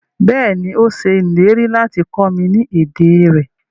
Bẹ́ẹ̀ni, o ṣẹ ilẹ̀rí lati kọ mi ni èdè rẹ